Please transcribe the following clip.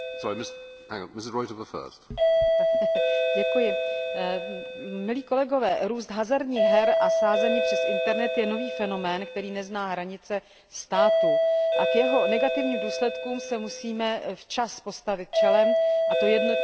Milí kolegové, růst hazardních her a sázení přes internet je nový fenomén, který nezná hranice států, a k jeho negativním důsledkům se musíme včas postavit čelem, a to jednotně v celé Evropské unii, pokud jde o účinnou ochranu dětí a mladistvých.